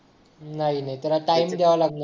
नाही नाही त्याला टाईम द्यावा लागणार